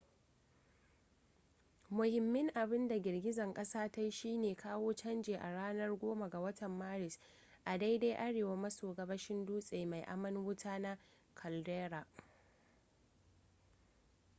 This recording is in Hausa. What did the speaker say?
muhimmin abinda girgizar kasar ta yi shine kawo canji a ranar 10 ga watan maris a daidai arewa maso gabashin dutse mai aman wuta na caldera